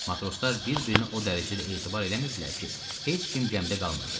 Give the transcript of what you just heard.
Matroslar bir-birinə o dərəcədə etibar eləmirdilər ki, heç kim gəmidə qalmırdı.